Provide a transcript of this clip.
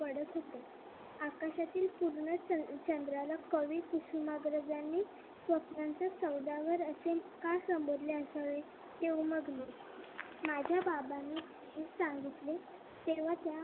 पूर्ण चंद्राला कवी कुसुमाग्रज यांनी स्वप्नांचे सौदागर असे का संबोधले असावे तेव्हा मागणं माझ्या बाबानी सांगितले तेव्हा मग